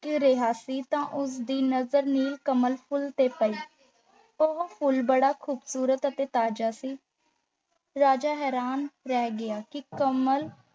ਰਿਹਾ ਸੀ ਤਾਂ ਉਸ ਦੀ ਨਜ਼ਰ ਨੀਲ ਕਮਲ ਫੁੱਲ ਤੇ ਪਈ ਉਹ ਫੂਲ ਬੜਾ ਖੂਬਸੂਰਤ ਅਤੇ ਤਾਜ਼ਾ ਸੀ। ਰਾਜਾ ਹੈਰਾਨ ਰਹਿ ਗਿਆ ਕਿ ਕਮਲ